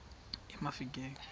emafikeng